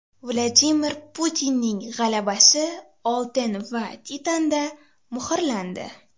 Vladimir Putinning g‘alabasi oltin va titanda muhrlandi.